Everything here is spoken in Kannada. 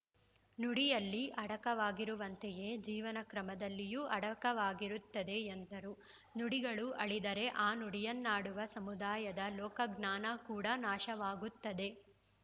ನುಡಿಯಲ್ಲಿ ಅಡಕವಾಗಿರುವಂತೆಯೇ ಜೀವನ ಕ್ರಮದಲ್ಲಿಯೂ ಅಡಕವಾಗಿರುತ್ತದೆ ಎಂದರು ನುಡಿಗಳು ಅಳಿದರೆ ಆ ನುಡಿಯನ್ನಾಡುವ ಸಮುದಾಯದ ಲೋಕಜ್ಞಾನ ಕೂಡ ನಾಶವಾಗುತ್ತದೆ